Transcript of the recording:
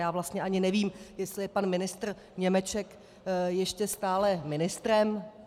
Já vlastně ani nevím, jestli je pan ministr Němeček ještě stále ministrem.